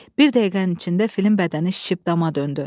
Bir dəqiqənin içində filin bədəni şişib dama döndü.